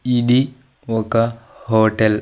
ఇది ఒక హోటల్ .